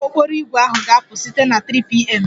Ụgbọ okporo ígwè ahụ ga-apụ site na 3pm